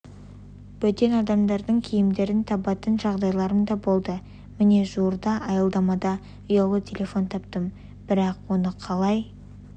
бөтен адамдардың киімдерін табатын жағдайларым да болды міне жуырда аялдамада ұялы телефон таптым бірақ оны қалай